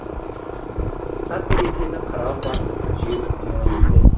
қыста терезені қырау басып жел гуілдейді